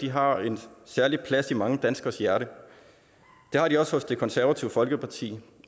har en særlig plads i mange danskeres hjerte det har de også hos det konservative folkeparti